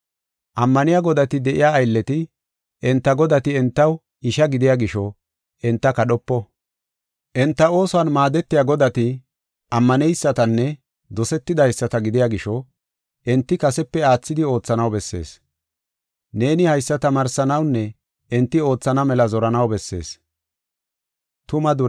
Ammaniya godati de7iya aylleti, enta godati entaw isha gidiya gisho enta kadhopo. Enta oosuwan maadetiya godati, ammaneysatanne dosetidaysata gidiya gisho enti kasepe aathidi oothanaw bessees. Neeni haysa tamaarsanawunne enti oothana mela zoranaw bessees.